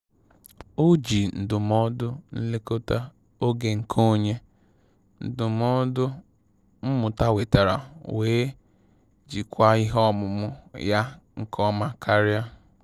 Oji ndụmọdụ nlekọta oge nke onye ndụmọdụ mmụta wetara wee jikwaa ihe ọmụmụ ya nke ọma karia